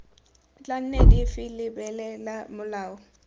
tla nne dife lebelela molao